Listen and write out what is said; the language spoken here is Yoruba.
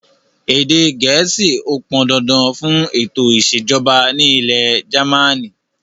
Èdè gẹ̀ẹ́sì ó pọn dandan fún ètò ìsèjọba ni ilẹ̀ jamaaní